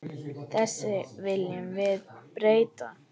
Þessu viljum við breyta.